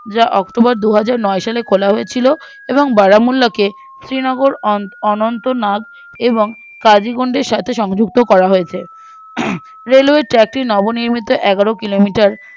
রা october দুহাজারনয় সালে খোলা হয়েছিল এবং বারামুল্লাকে শ্রীনগর অন অনন্ত্য নাগ এবং কাজীগন্ডীর সাথে সংযুক্ত করা হয়েছে হম railway track টি নিয়মিত এগারো কিলোমিটার